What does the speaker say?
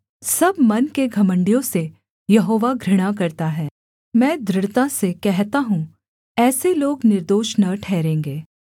सब मन के घमण्डियों से यहोवा घृणा करता है मैं दृढ़ता से कहता हूँ ऐसे लोग निर्दोष न ठहरेंगे